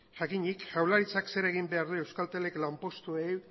jakinik jaurlaritzak zer egin behar duen euskaltelek lanpostuei